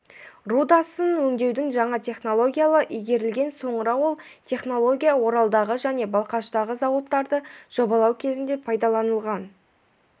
рудасын өңдеудің жаңа технологиялары игерілген соңыра ол технология оралдағы және балқаштағы зауыттарды жобалау кезінде пайдаланылған